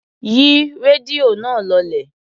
Yí rédíò náà lọlẹ̀.